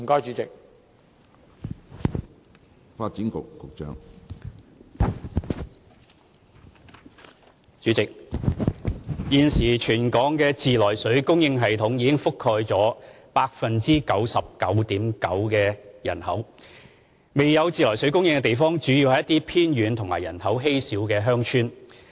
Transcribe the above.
主席，現時全港的自來水供應系統已覆蓋約 99.9% 的人口，未有自來水供應的地方主要是一些偏遠及人口稀少的鄉村。